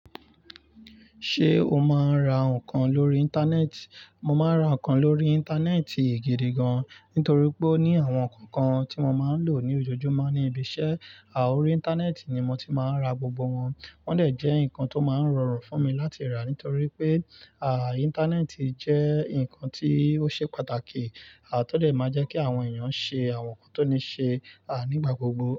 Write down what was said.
Ṣé o máa ń ra nǹkan lórí Íńtánẹ́ẹ̀tì? Mo máa ń ra nǹkan lórí Íńtánẹ́ẹ̀tì gidi gan, nítorí pé ní àwọn nǹkan kan tí mo máa ń lò ní ojojúmọ́ ní ibi iṣẹ́, à órí Íńtánẹ́ẹ̀tì ni mo ti máa ń ra gbogbo wọn. Wọ́n dẹ̀ jẹ́ nǹkan tó máa ń rọrùn fún mi láti rà nítorí pé, à Íńtánẹ́ẹ̀tì jẹ́ nǹkan tí ó ṣe pàtàkì, à tọ dẹ̀ máa jẹ́ kí àwọn èèyàn ṣe àwọn nǹkan tó ní ṣe, à nígbà gbogbo.